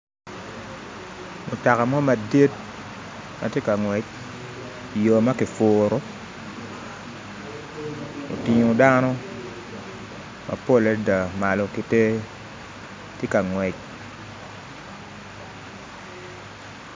Mutoka mo madit ma tye ka ngwec i yo ma kipuro otingo dano mapol adada malo ki tee tye ka ngwec